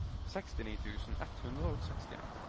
sekstini tusen ett hundre og sekstien